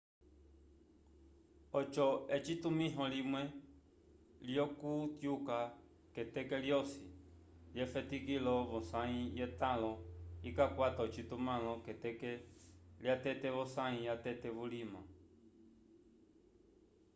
oco etumĩho limwe lyokutyuka k'eteke lyosi lyefetikilo v'osãyi yetãlo ikakwata ocitumãlo k'eteke lyatete v'osãyi yatete vulima